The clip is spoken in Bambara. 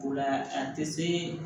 O la a tɛ se